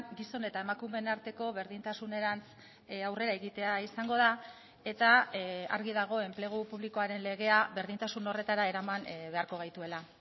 gizon eta emakumeen arteko berdintasunerantz aurrera egitea izango da eta argi dago enplegu publikoaren legea berdintasun horretara eraman beharko gaituela